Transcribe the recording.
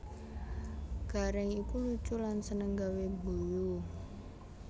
Gareng iku lucu lan seneng gawé guyu